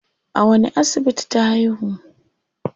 A wani asibiti ta haihu?